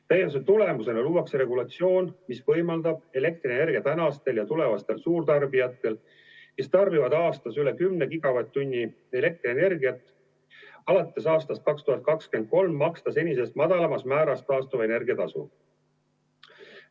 Täienduse tulemusena luuakse regulatsioon, mis võimaldab elektrienergia tänastel ja tulevastel suurtarbijatel, kes tarbivad aastas üle 10 gigavatt-tunni elektrienergiat, alates aastast 2023 maksta senisest madalamas määras taastuvenergia tasu.